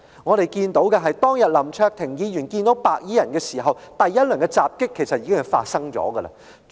我們所看到的，是當天林卓廷議員遇上白衣人時，第一輪襲擊已經發生。